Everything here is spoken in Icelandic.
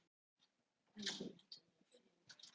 Þá var mér alveg nóg boðið.